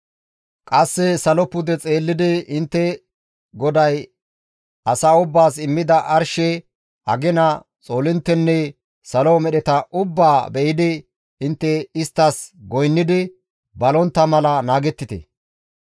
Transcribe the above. Qasse salo pude xeellidi intte GODAY asa ubbaas immida arshe, agina, xoolinttenne salo medheta ubbaa be7idi intte isttas goynnidi balontta mala naagettite.